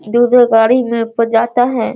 दो-दो गाड़ी में प जाता है।